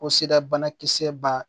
Ko sira banakisɛ ba